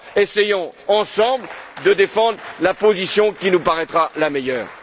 Alors, essayons ensemble de défendre la position qui nous paraîtra la meilleure!